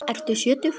Ertu sjötug?